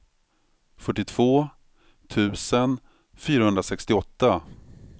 fyrtiotvå tusen fyrahundrasextioåtta